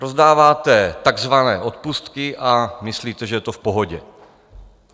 Rozdáváte takzvané odpustky a myslíte, že to je v pohodě.